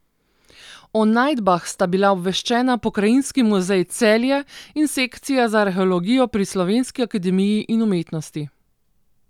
O najdbah sta bila obveščena Pokrajinski muzej Celje in Sekcija za arheologijo pri Slovenski akademiji in umetnosti.